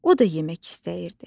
O da yemək istəyirdi.